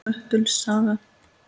Möttuls saga